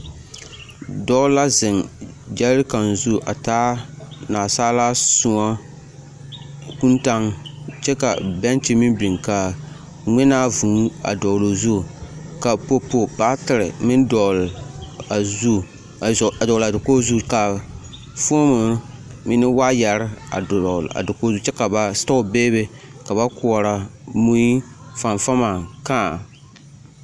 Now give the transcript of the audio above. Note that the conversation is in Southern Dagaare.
Dɔɔ la zeŋ ɡyɛɛrekan zu a taa naasaalaa sõɔ kūūtaŋ kyɛ ka bɛŋkyi meŋ biŋ ka ŋmenaa vūū a dɔɔle o zu ka popo baatere meŋ a dɔɔle a dakoɡi zu ka foomo meŋ ne waayɛr dɔɔle a dakoɡi zu kyɛ ka ba setɔɔ beebe ka ba koɔrɔ mui, fanfama kãã.